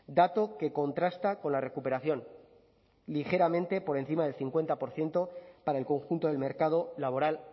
dato que contrasta con la recuperación ligeramente por encima del cincuenta por ciento para el conjunto del mercado laboral